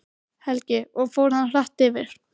Helgi: Og fór hann hratt yfir?